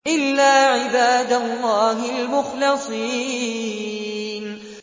إِلَّا عِبَادَ اللَّهِ الْمُخْلَصِينَ